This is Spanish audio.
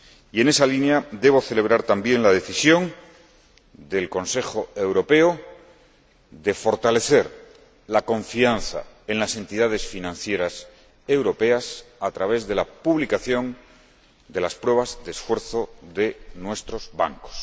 Y en esa línea, debo celebrar también la decisión del Consejo Europeo de fortalecer la confianza en las entidades financieras europeas a través de la publicación de las pruebas de esfuerzo de nuestros bancos.